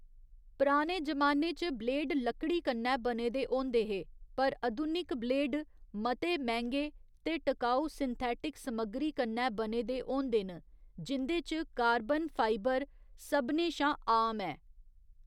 पराने जमाने च ब्लेड लकड़ी कन्नै बने दे होंदे हे, पर अधुनिक ब्लेड मते मैंह्गे ते टकाऊ सिंथेटिक समग्गरी कन्नै बने दे होंदे न, जिं'दे च कार्बन फाइबर सभनें शा आम ऐ।